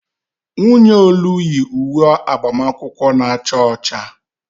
Nwunye Olu yi uwe agbamakwụkwọ na-acha ọcha